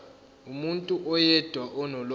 umuntu oyedwa onolwazi